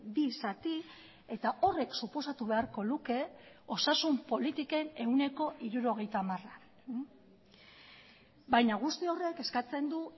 bi zati eta horrek suposatu beharko luke osasun politiken ehuneko hirurogeita hamara baina guzti horrek eskatzen du